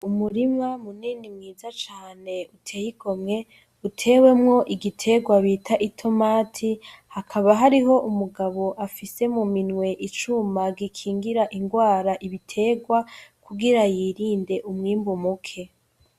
Umurima munini mwiza cane uteye igomwe, utewemwo igiterwa bita itomati, hakaba hariho umugabo afise mu minwe icuma gikingira ingwara ibiterwa kugira yirinde umwimbu muke.